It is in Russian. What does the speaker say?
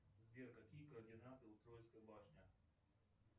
сбер какие координаты у троицкой башни